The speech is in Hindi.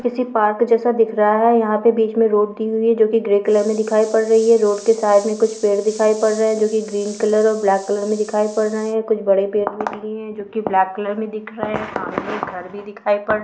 किसी पार्क जैसा दिख रहा है यहाँ पर बीच में रोड दी हुई है जो कि ग्रे कलर में दिखाई पड़ रही है रोड के साइड में कुछ पेड़ दिखाई पड़ रहे हैं जो कि ग्रीन कलर और ब्लैक कलर में दिखाई पड़ रहे हैं कुछ बड़े पेड़ भी दिए हैं जो कि ब्लैक कलर में दिख रहे हैं सामने एक एक घर भी दिखाई पड़ --